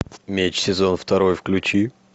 меч сезон второй включи